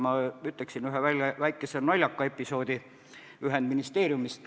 Ma toon näiteks ühe väikese naljaka episoodi ühendministeeriumist.